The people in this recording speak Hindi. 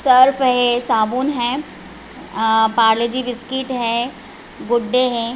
सर्फ़ है साबुन है पार्ले जी बिस्कुट है गुड डे हैं।